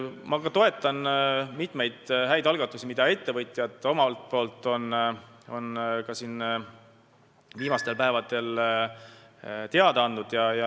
Ma toetan mitmeid häid algatusi, millest ettevõtjad on ka viimastel päevadel teada andnud.